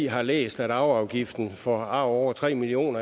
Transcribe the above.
har læst at arveafgiften for arv over tre million